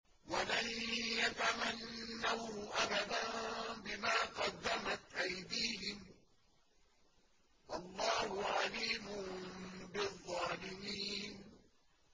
وَلَن يَتَمَنَّوْهُ أَبَدًا بِمَا قَدَّمَتْ أَيْدِيهِمْ ۗ وَاللَّهُ عَلِيمٌ بِالظَّالِمِينَ